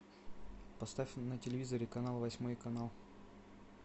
поставь на телевизоре канал восьмой канал